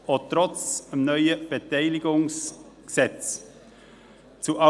Dies trotz des neuen Gesetzes über die Beteiligung des Kantons an der BKW AG (BKW-Gesetz, BKWG).